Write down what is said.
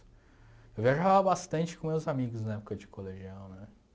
Eu viajava bastante com meus amigos na época de colegial, né?